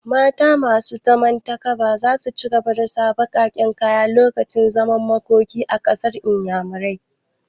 Mata masu takaba za su ci gaba da sa baƙaƙen kaya lokacin zaman makoki a ƙasar inyamurai